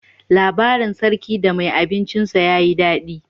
Labarin sarki da mai abincin sa ya yi daɗi.